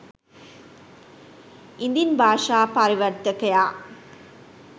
ඉදින් භාෂා පරිවර්තකයා